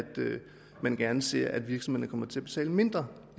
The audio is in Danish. man gerne ser at virksomhederne kommer til at betale mindre